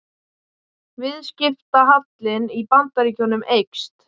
Viðskiptahallinn í Bandaríkjunum eykst